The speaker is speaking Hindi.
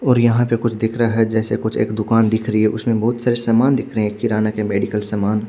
और यहाँ पे कुछ दिख रहा है जेसे कुछ एक दुकान दिख रही है उसमे बोहोत सारे सामान दिख रहे है किराना के मेडिकल सामान--